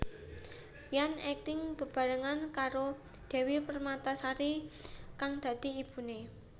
Ryan akting bebarengan karo Devi Permatasari kang dadi ibune